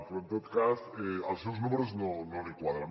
però en tot cas els seus números no li quadren